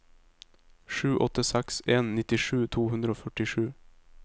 sju åtte seks en nittisju to hundre og førtisju